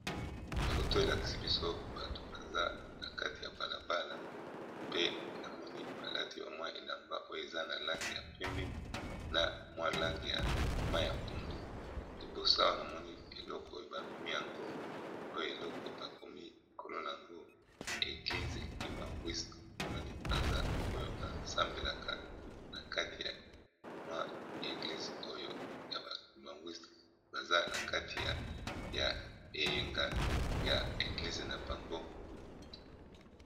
foto elakisi biso bato baza na kati ya balabala pe na moni balati bamwa elamba oyo eza na lange ya pembe na mwa lange ya ma ya pundu libosa wana moni eloko oyo bamemi yango oyo eloko bakomi ekolo na yango eglizeibangwisk monani baza oyo basambelaka na kati ya mwa eglise oyo ya baubangwiste baza na kati ya ya eyenga ya eglise na bango